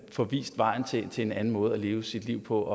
få vist vejen til en til en anden måde at leve sit liv på